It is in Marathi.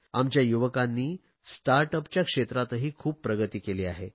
आमच्या युवकांनी स्टार्ट अपच्या क्षेत्रातही खूप प्रगती केली आहे